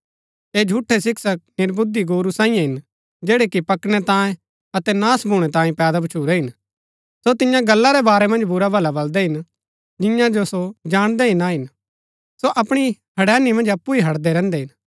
ऐह झूठै शिक्षक निर्बुद्धि गोरू सांईये हिन जैड़ै कि पकड़नै तांई अतै नाश भूणै तांई पैदा भछूरै हिन सो तिन्या गल्ला रै बारै मन्ज बुराभला बलदै हिन जिन्या जो सो जाणदै ही ना हिन सो अपणी हड़ैनी मन्ज अप्पु ही हडदै रहन्दै हिन